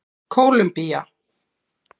Kólumbía